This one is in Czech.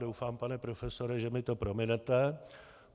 Doufám, pane profesore, že mi to prominete.